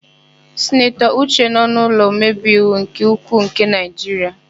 Sinatọ Uche nọ n'ụlọ omebeiwu nke ukwuu nke Naịjiria.